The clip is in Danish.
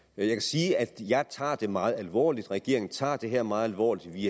jeg kan sige at jeg tager det meget alvorligt at regeringen tager det her meget alvorligt vi